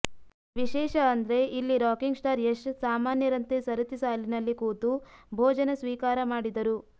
ವಿಶೇಷ ಅಂದ್ರೆ ಇಲ್ಲಿ ರಾಕಿಂಗ್ ಸ್ಟಾರ್ ಯಶ್ ಸಾಮಾನ್ಯರಂತೆ ಸರತಿ ಸಾಲಿನಲ್ಲಿ ಕೂತು ಭೋಜನ ಸ್ವೀಕಾರ ಮಾಡಿದರು